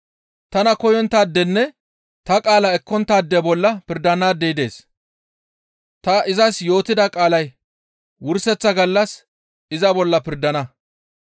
Tana koyonttaadenne ta qaala ekkonttaade bolla pirdanaadey dees; ta izas yootida qaalay wurseththa gallas iza bolla pirdana.